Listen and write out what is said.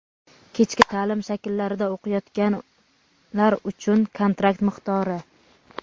kechki ta’lim shakillarida o‘qiyotganlar uchun kontrakt miqdori.